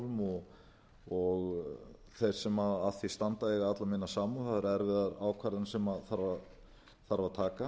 og þeir sem að því standa eiga alla mína samúð það eru erfiðar ákvarðanir sem þarf að taka